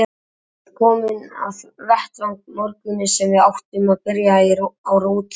Hann var kominn á vettvang morguninn sem við áttum að byrja á rotþrónni.